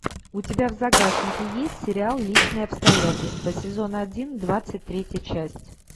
у тебя в загашнике есть сериал личные обстоятельства сезон один двадцать третья часть